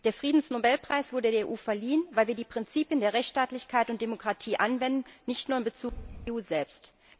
Der Friedensnobelpreis wurde der EU verliehen, weil wir die Prinzipien der Rechtsstaatlichkeit und Demokratie anwenden nicht nur in Bezug auf die EU selbst.